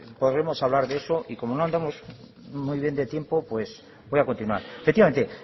podremos hablar de eso y como no andamos muy bien de tiempo pues voy a continuar efectivamente